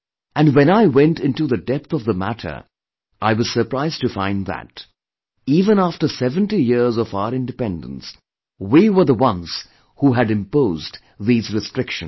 And when I went into the depth of the matter I was surprised to find that even after seventy years of our independence, we were the ones who had imposed these restrictions